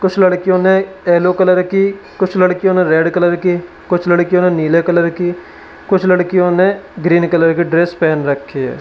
कुछ लड़कियों ने येलो कलर की कुछ लड़कियों ने रेड कलर की कुछ लड़कियों ने नीले कलर की कुछ लड़कियों ने ग्रीन कलर की ड्रेस पहन रखी है।